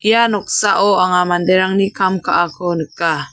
ia noksao anga manderangni kam ka·ako nika.